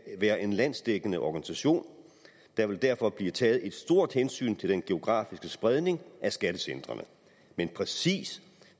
være en landsdækkende organisation der vil derfor blive taget et stort hensyn til den geografiske spredning af skattecentrene men præcis